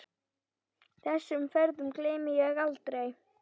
Þessum ferðum gleymi ég aldrei.